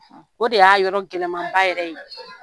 O de y'a yɔrɔ gɛlɛmanba yɛrɛ ye